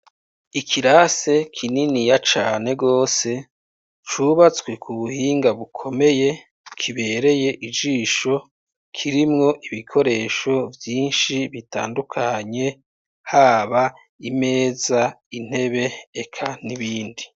Ikirase kininiya cane gose cubatswe ku buhinga bukomeye, kibereye ijisho kirimwo ibikoresho vyinshi bitandukanye haba imeza, intebe eka n'ibindi.